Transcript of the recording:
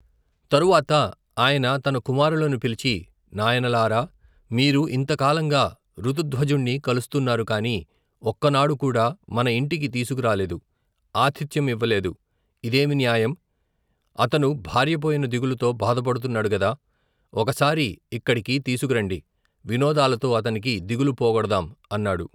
తరువాత ఆయన తన కుమారులను పిలిచి, నాయనలారా, మీరు ఇంత కాలంగా, ఋతుధ్వజుణ్ణి కొలుస్తున్నారు కాని, ఒక్కనాడుకూడా మన ఇంటికి తీసుకురాలేదు, ఆతిధ్యం ఇవ్వలేదు, ఇదేమి న్యాయం, అతను భార్యపోయిన దిగులుతో భాధపడుతున్నాడుగదా, ఒకసారి ఇక్కడికి తీసుకురండి, వినోదాలతో అతనికి దిగులు పోగొడదాం అన్నాడు.